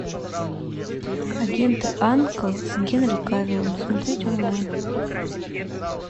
агенты анкл с генри кавиллом смотреть онлайн